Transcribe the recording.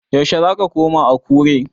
Yaushe zaka koma Akure?